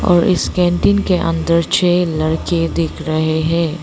और इस कैंटीन के अंदर छे लड़के दिख रहे है।